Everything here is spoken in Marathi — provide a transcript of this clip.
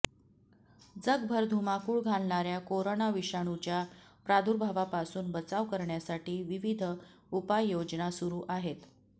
जगभर धुमाकूळ घालणाऱया कोरोना विषाणूच्या प्रादुर्भावापासून बचाव करण्यासाठी विविध उपाययोजना सुरू आहेत